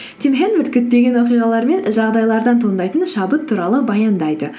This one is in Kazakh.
тим хэнворд күтпеген оқиғалар мен жағдайлардан туындайтын шабыт туралы баяндайды